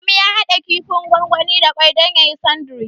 Adamu ya haɗa kifin gwangwani da ƙwai don yayi sandiwic.